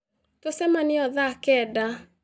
Tũcemanie o thaa kenda